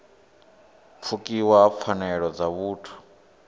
pfukiwa ha pfanelo dza vhuthu